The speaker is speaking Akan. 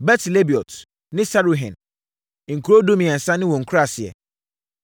Bet-Lebaot ne Saruhen. Nkuro dumiɛnsa ne wɔn nkuraaseɛ.